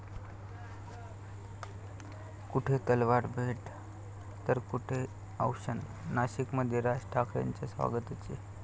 कुठे तलवार भेट तर कुठे औक्षण, नाशिकमध्ये राज ठाकरेंच्या स्वागताचे